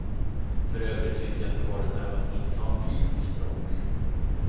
För övrigt tycker jag att du har ett närmast infantilt språk.